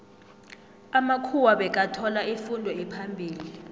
amamkhuwa bekathola ifundo ephambili